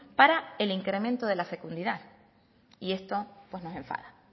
para el incremento de la fecundidad y esto pues nos enfada